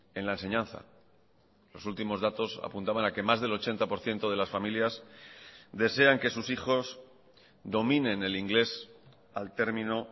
en la enseñanza los últimos datos apuntaban a que más del ochenta por ciento de las familias desean que sus hijos dominen el inglés al termino